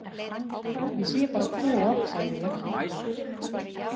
Ég sé bara tvo, sagði ég.